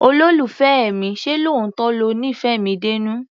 Olólùfẹ́ mi, ṣé lóòótọ́ lo nífẹ̀ẹ́ mi dénú?